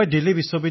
প্ৰধানমন্ত্ৰীঃ হয়